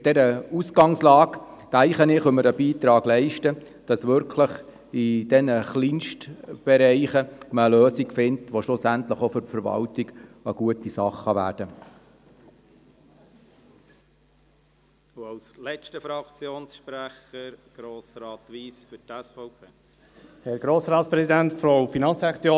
Bei dieser Ausganglage können wir einen Beitrag leisten, damit in diesen Kleinstbereichen eine Lösung gefunden werden kann, die schliesslich auch für die Verwaltung stimmt.